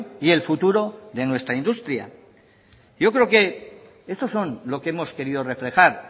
y el futuro de nuestra industria yo creo que estos son lo que hemos querido reflejar